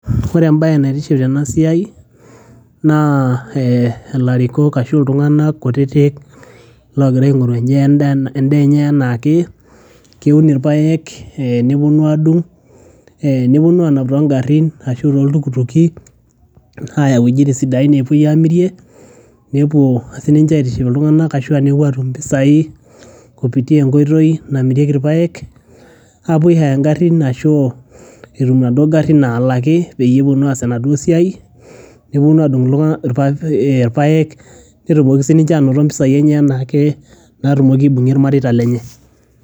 ore embaye naitiship tena siai naa eh ilarikok ashu iltung'anak kutitik logira aing'oru endaa enye enaake keun irpayek eh neponu adung eh neponu anap tongarrin ashu toltukutuki aya iwuejitin sidain nepuoi amirie nepuo sininche aitiship iltung'anak ashua nepuo atum impisai kupitia enkoitoi namirieki irpayek apuo ae hire ingarrin ashu etum inaduo garrin nalaki peyie eponu aas enaduo siai neponu adung irpayek netumoki sininche anoto mpisai enye anaake natumoki aibung'ie irmareita lenye.